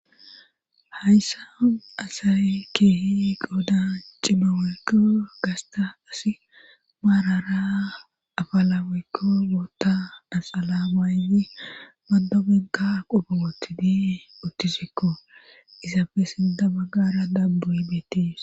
Hayssa asay keehi qooda cimaweykko gasta asi maarara afalaweykko woota asala maayyi maddobigga qupootidii uttisikko izaafe sida baggara dabbu hibeetiis